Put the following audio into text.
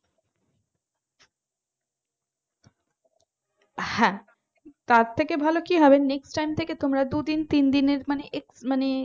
হ্যাঁ তার থেকে ভালো কি হবে next time থেকে তোমরা দুদিন তিনদিন মানে একটু মানে